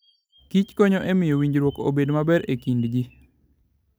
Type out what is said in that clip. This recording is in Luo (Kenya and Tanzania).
kich konyo e miyo winjruok obed maber e kind ji.